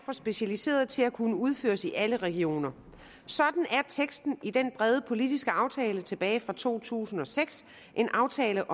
for specialiserede til at kunne udføres i alle regioner sådan er teksten i den brede politiske aftale tilbage fra to tusind og seks en aftale